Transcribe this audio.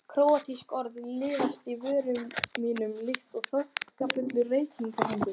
Króatísk orð liðast af vörum mínum líkt og þokkafullir reykhringir.